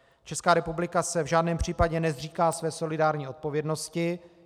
Česká republika se v žádném případě nezříká své solidární odpovědnosti.